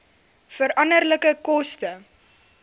veranderlike koste